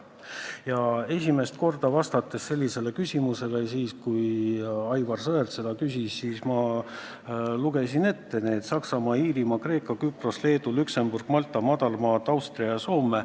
Ja esimest korda vastates sellele küsimusele, kui Aivar Sõerd seda küsis, ma lugesin ette need riigid: Saksamaa, Iirimaa, Kreeka, Küpros, Leedu, Luksemburg, Malta, Madalmaad, Austria ja Soome.